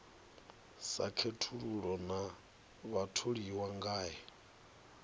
sa khethulula na vhatholiwa ngae